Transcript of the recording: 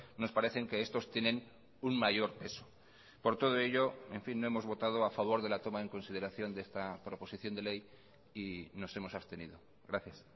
nos parecen que estos tienen un mayor peso por todo ello en fin no hemos votado a favor de la toma en consideración de esta proposición de ley y nos hemos abstenido gracias